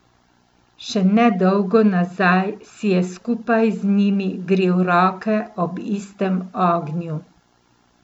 Še ne dolgo nazaj si je skupaj z njimi grel roke ob istem ognju.